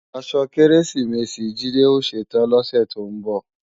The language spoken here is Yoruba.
Aṣọ Kérésìmesì Jídé ó ṣetán lọ́sè tó ń bọ̀